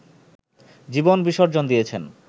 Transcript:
জীবন বিসর্জন দিয়েছেন